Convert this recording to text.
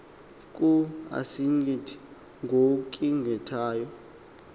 kub asigqithi ngogqithayo